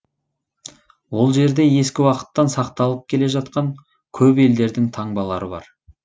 ол жерде ескі уақыттан сақталып келе жатқан көп елдердің таңбалары бар